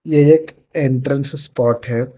ये एक entrance spot है।